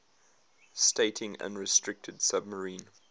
stating unrestricted submarine